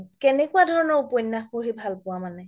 কেনেকুৱা ধৰণৰ উপন্যাস পঢ়ি ভাল পোৱা মানে